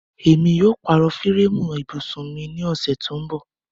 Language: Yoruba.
Émi yóò pàró fírẹẹmu íbusun mi ni ọṣẹ tó nbọ̀.